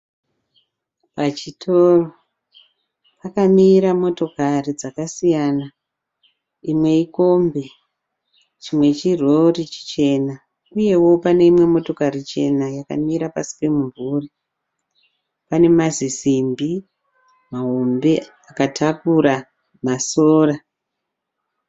Pachitoro pakamira motokari dzakasiyana imwe ikombi chimwe chirori chichena uyewo pane imwe imotokari chena yakamira pasi pemumvuri pane mazisimbi mahombe akatakura masora